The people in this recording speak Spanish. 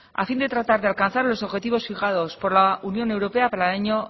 a fin de tratar de alcanzar los objetivos fijados por la unión europa para e laño